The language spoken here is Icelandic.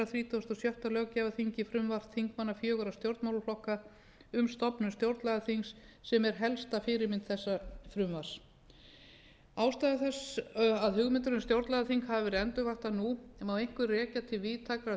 þrítugasta og sjötta löggjafarþingi frumvarp þingmanna fjögurra stjórnmálaflokka um stofnun stjórnlagaþings sem er helsta fyrirmynd þessa frumvarps ástæður þess að hugmyndir um stjórnlagaþing hafa verið endurvaktar nú má einkum rekja til víðtækrar